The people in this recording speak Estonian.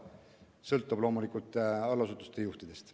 See sõltub loomulikult allasutuste juhtidest.